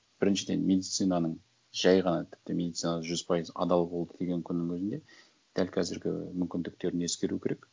біріншіден медицинаның жай ғана тіпті медицинаның жүз пайыз адал болды деген күннің өзінде дәл қазіргі мүмкіндіктерін ескеру керек